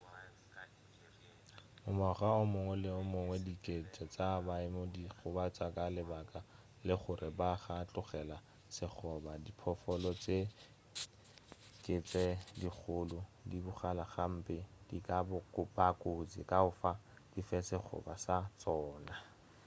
ngwaga o mongwe le o mongwe dikete tša baeng di gobatšwa ka lebaka la gore ga ba tlogela sekgoba diphoofolo tše ke tše dikgolo di bogale gape di ka ba kotsi ka fao di fe sekgoba sa tšona